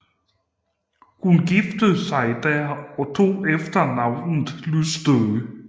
Hun giftede sig der og tog efternavnet Lystø